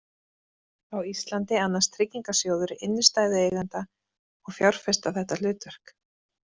Á Íslandi annast Tryggingarsjóður innstæðueigenda og fjárfesta þetta hlutverk.